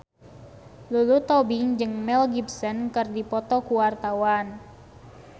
Lulu Tobing jeung Mel Gibson keur dipoto ku wartawan